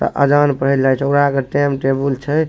अ आज़ान पढ़े लायटोरा के टेम - टेबुल छय।